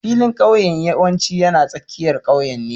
Filin ƙauyen yawanci yana tsakiyar ƙauyen ne